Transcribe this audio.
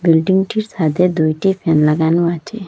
বিল্ডিংটির সাদে দুইটি ফ্যান লাগানো আচে।